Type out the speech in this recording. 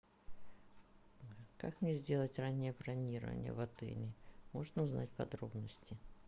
как мне сделать раннее бронирование в отеле можно узнать подробности